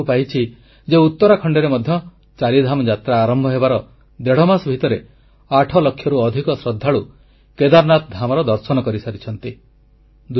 ମୁଁ ଜାଣିବାକୁ ପାଇଛି ଯେ ଉତରାଖଣ୍ଡରେ ମଧ୍ୟ ଚାରିଧାମ ଯାତ୍ରା ଆରମ୍ଭ ହେବାର ଦେଢ଼ମାସ ଭିତରେ ଆଠଲକ୍ଷରୁ ଅଧିକ ଶ୍ରଦ୍ଧାଳୁ କେଦାରନାଥ ଧାମର ଦର୍ଶନ କରିସାରିଛନ୍ତି